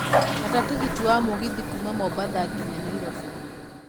gata tigiti wa mũgithi kuuma mombatha nginya nairobi